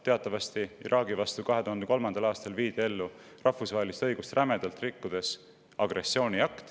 Teatavasti viidi Iraagi vastu 2003. aastal ellu agressiooniakt, seejuures rahvusvahelist õigust rämedalt rikkudes.